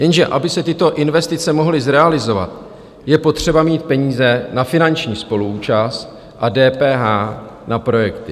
Jenže aby se tyto investice mohly zrealizovat, je potřeba mít peníze na finanční spoluúčast a DPH na projekty.